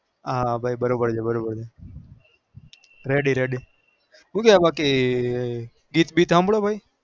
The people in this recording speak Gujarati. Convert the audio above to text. હા ભાઈ બરો બાર બરોબર છે ready ready ગીત બીત હભ્રો બહિ